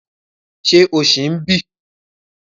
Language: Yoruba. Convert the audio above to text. Ṣé o ṣì ń bí?